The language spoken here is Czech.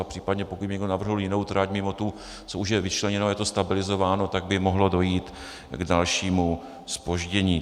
A případně pokud by někdo navrhl jinou trať mimo tu, co už je vyčleněna, je to stabilizováno, tak by mohlo dojít k dalšímu zpoždění.